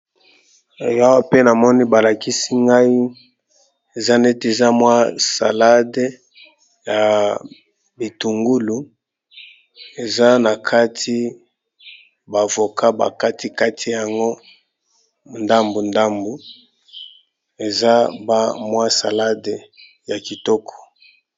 Awa pe na moni balakisi ngai eza neti eza mwa salade, ya bitungulu eza na kati ba avoka bakati kati yango ndambu ndambu eza ba mwa salade ya kitoko.